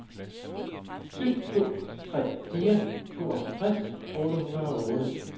syv to tre fire tooghalvtreds otte hundrede og otte